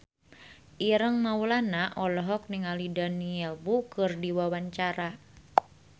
Ireng Maulana olohok ningali Daniel Wu keur diwawancara